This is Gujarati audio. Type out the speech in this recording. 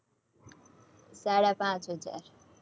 સાડા પાંચ હજાર